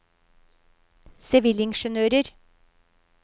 sivilingeniører